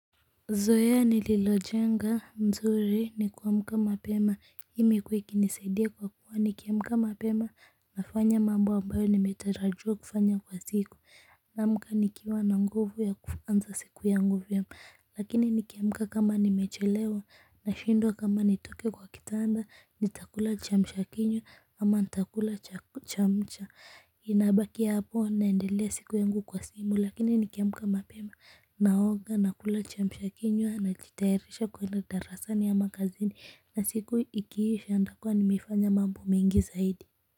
Zoea nililojenga mzuri ni kuamka mapema imekua ikinisaidia kwa kuwa nikiamka mapema nafanya mambo ambayo nimetarajia kufanya kwa siku naamka nikiwa na nguvu ya kuanza siku yang vyema lakini nikiamka kama nimechelewa nashindwa kama nitoke kwa kitanda nitakula chamsha kinywa ama nitakula chamsha ninabaki hapo naendelea siku yangu kwa simu lakini nikiamka mapema naoga nakula chamsha kinywa najitairisha kwenda darasani ama kazini na siku ikisha nitakua nimefanya mambo mengi zaidi.